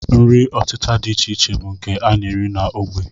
Nri ọtịta dị iche iche bụ nke a na-eri n'ógbè